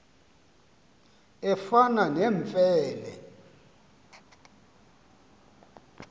efana nemfe le